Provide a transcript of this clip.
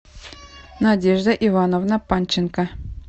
надежда ивановна панченко